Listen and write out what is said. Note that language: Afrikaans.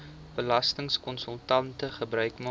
belastingkonsultante gebruik maak